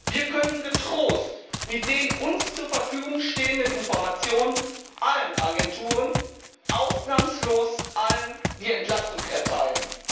Wir können getrost mit den uns zur Verfügung stehenden Informationen allen Agenturen ausnahmslos allen die Entlastung erteilen.